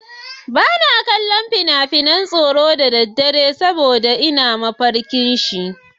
Ba na kallon fina-finan tsoro da daddare, in ba haka ba zan yi mafarki da shi.